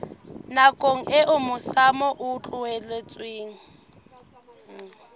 nakong eo masimo a tlohetsweng